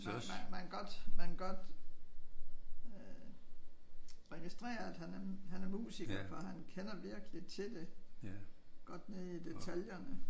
Man man man kan godt man kan godt registrere at han er han er musiker for han kender virkelig til det. Godt nede i detaljerne